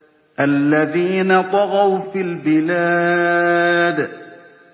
الَّذِينَ طَغَوْا فِي الْبِلَادِ